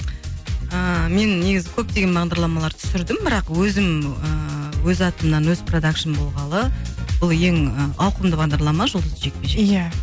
ыыы мен негізі көптеген бағдарламалар түсірдім бірақ өзім ыыы өз атымнан өз продакшным болғалы бұл ең ауқымды бағдарлама жұлдызды жекпе жек иә